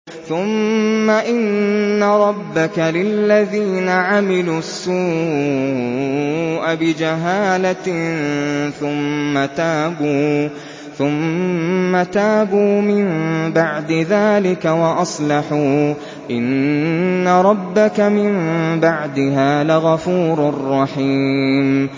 ثُمَّ إِنَّ رَبَّكَ لِلَّذِينَ عَمِلُوا السُّوءَ بِجَهَالَةٍ ثُمَّ تَابُوا مِن بَعْدِ ذَٰلِكَ وَأَصْلَحُوا إِنَّ رَبَّكَ مِن بَعْدِهَا لَغَفُورٌ رَّحِيمٌ